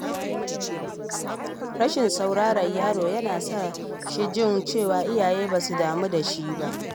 Rashin sauraron yaro yana sa shi jin cewa iyayensa ba su damu da shi ba.